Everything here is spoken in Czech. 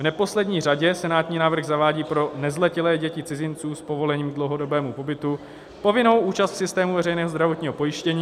V neposlední řadě senátní návrh zavádí pro nezletilé děti cizinců s povolením k dlouhodobému pobytu povinnou účast v systému veřejného zdravotního pojištění.